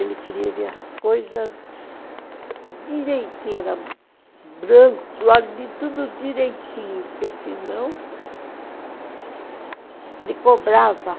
Ele queria ver as coisas direitinho, era branco, tudo direitinho, porque senão ele cobrava.